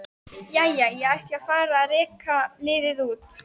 Jæja, ég ætla að fara að reka liðið út.